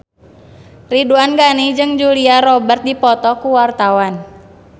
Ridwan Ghani jeung Julia Robert keur dipoto ku wartawan